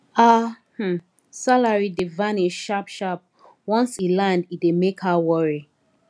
her um salary dey vanish sharp sharp once e land e dey make her worry